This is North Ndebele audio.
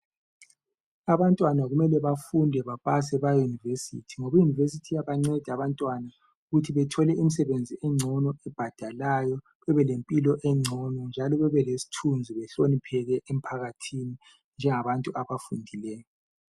Abantwana kumele bafunde bapase baye university ngoba iuniversity iyabanceda abantwana ukuthi bethole imisebenzi engcono ebhadalayo bebelempilo engcono njalo bebe lesithunzi behlonipheke emphakathini njengabantu abafundileyo.